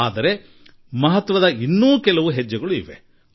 ಆದರೆ ಅದಕ್ಕೆ ಇನ್ನೂ ಅನೇಕ ಆಯಾಮಗಳಿವೆ